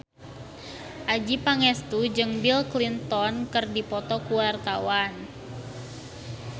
Adjie Pangestu jeung Bill Clinton keur dipoto ku wartawan